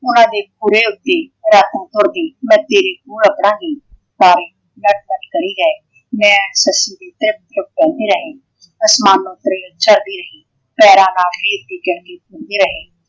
ਓਹਨਾ ਦੇ ਖੋਰ ਉੱਤੇ ਰਾਤੋਂ ਖੁਰ ਗਈ। ਤਾਰੇ ਜਗਮਗ ਕਰੀ ਗਏ